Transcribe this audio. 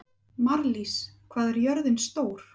Marlís, hvað er jörðin stór?